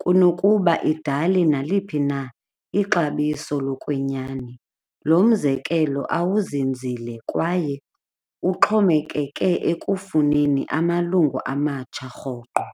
kunokuba idale naliphi na ixabiso lokwenyani. Lo mzekelo awuzunzile kwaye uxhomekeke ekufuneni amalungu amatsha rhoqo.